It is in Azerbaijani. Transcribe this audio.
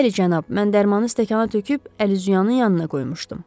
Bəli, cənab, mən dərmanı stəkana töküb əl-üzüyanın yanına qoymuşdum.